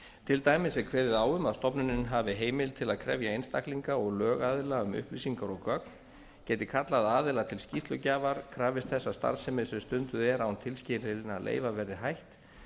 til dæmis er kveðið á um að stofnunin hafi heimild til að krefja einstaklinga og lögaðila um upplýsingar og gögn geti kallað aðila til skýrslugjafar krafist þess að starfsemi sem stunduð er án tilskilinna leyfa verði hætt